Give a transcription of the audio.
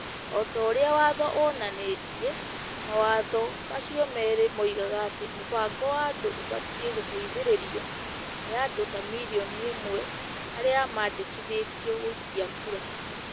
O ta ũrĩa Watho wonanĩtie, mawatho macio merĩ moigaga atĩ mũbango wa andũ ũbatiĩ gũteithĩrĩrio nĩ andũ ta mirioni ĩmwe arĩa mandĩkithĩtio gũikia kura.